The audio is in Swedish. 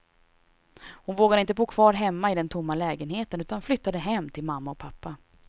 Hon vågade inte bo kvar hemma i den tomma lägenheten, utan flyttade hem till mamma och pappa.